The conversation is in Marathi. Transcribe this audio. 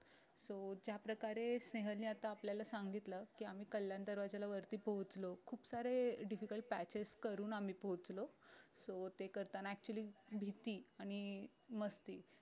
so ज्या प्रकारे स्नेहल ने आता आपल्याला सांगितलं की आम्ही कल्याण दरवाज्याला वरती पोहचलो खूप सारे difficult patches करून आम्ही पोहचलो so ते करताना actually भीती आणि मस्ती